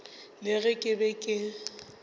le ge ke be ke